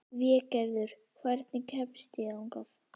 Végerður, hvernig kemst ég þangað?